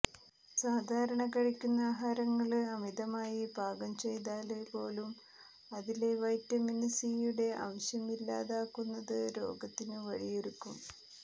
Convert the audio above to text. സാധാരണകഴിക്കുന്ന ആഹാരങ്ങള് അമിതമായി പാകം ചെയ്താല് പോലും അതിലെ വൈറ്റമിന് സിയുടെ അംശം ഇല്ലാതാകുന്നത് രോഗത്തിനു വഴിയൊരുക്കും